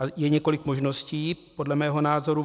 A je několik možností, podle mého názoru.